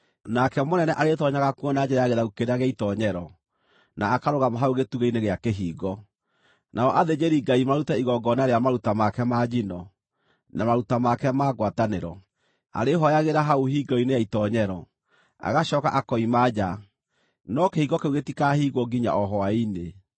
Nake mũnene arĩĩtoonyaga kuo na njĩra ya gĩthaku kĩrĩa gĩa itoonyero, na akarũgama hau gĩtugĩ-inĩ gĩa kĩhingo. Nao athĩnjĩri-Ngai marute igongona rĩa maruta make ma njino, na maruta make ma ngwatanĩro. Arĩĩhooyagĩra hau hingĩro-inĩ ya itoonyero, agacooka akoima nja, no kĩhingo kĩu gĩtikahingwo nginya o hwaĩ-inĩ.